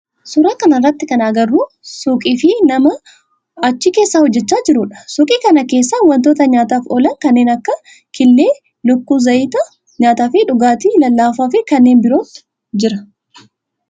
Suuraa kana irratti kana agarru suuqii fi nama achi keessa hojjechaa jirudha. Suuqii kana keessa wantoota nyaataf oolan kanneen akka killee lukkuu, zayita nyaataa, dhugaatii lallaafaa fi kanneen birootu jira.